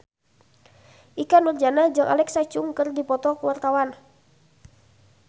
Ikke Nurjanah jeung Alexa Chung keur dipoto ku wartawan